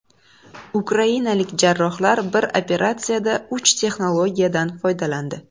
Ukrainalik jarrohlar bir operatsiyada uch texnologiyadan foydalandi.